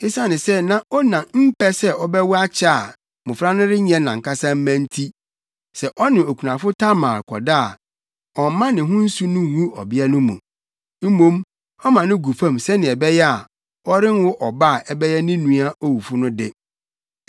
Esiane sɛ na Onan mpɛ sɛ ɔbɛwo akyɛ a mmofra no renyɛ nʼankasa mma nti, sɛ ɔne okunafo Tamar kɔda a, ɔmma ne ho nsu no ngu ɔbea no mu. Mmom, ɔma no gu fam sɛnea ɛbɛyɛ a, ɔrenwo ɔba a ɛbɛyɛ ne nua owufo no de.